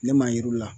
Ne m'a yir'u la